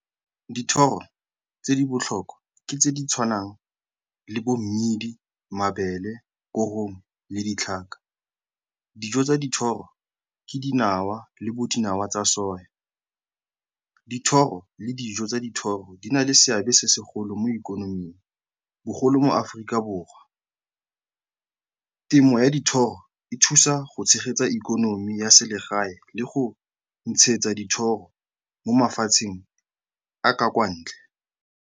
Dithoro tse di botlhokwa ke tse di tshwanang le bommidi, mabele, korong le ditlhaka. Dijo tsa dithoro ke dinawa le bodinawa tsa . Dithoro le dijo tsa dithoro di na le seabe se segolo mo ikonoming, bogolo mo Aforika Borwa. Temo ya dithoro e thusa go tshegetsa ikonomi ya selegae le go ntshetsa dithoro mo mafatsheng a ka kwa ntle.